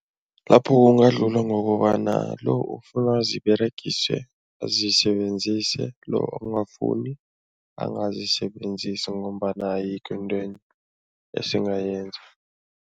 Lapho kungadlulwa ngokobana lo ofuna ziberegiswe azisebenzise, lo ongafuni angazisebenzisa ngombana ayikho into esingayenza.